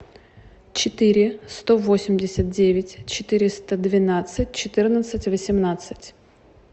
четыре сто восемьдесят девять четыреста двенадцать четырнадцать восемнадцать